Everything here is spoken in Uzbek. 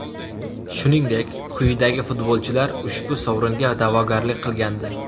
Shuningdek, quyidagi futbolchilar ushbu sovringa da’vogarlik qilgandi: !